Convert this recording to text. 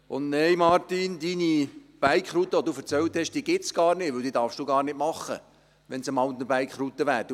Und nein, Martin Schlup: Deine Bike-Route, von der du erzählt hast, gibt es gar nicht, denn du dürftest sie gar nicht machen, wenn es eine Mountainbike-Route wäre.